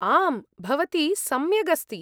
आम्, भवती सम्यग् अस्ति।